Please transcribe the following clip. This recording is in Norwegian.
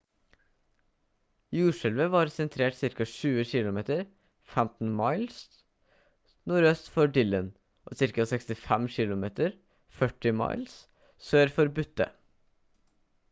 jordskjelvet var sentrert ca. 20 km 15 miles nordøst for dillon og ca. 65 km 40 miles sør for butte